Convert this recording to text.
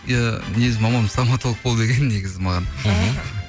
иә негізі мамам стамотолог бол деген негізі маған мхм